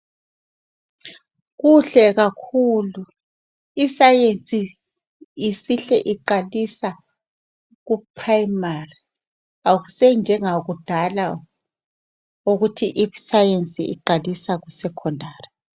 Kuhle kakhulu, isayensi isihle iqalisa ku primary, akusanjengakudala ukuthi i sayensi iqalisa ku secondary.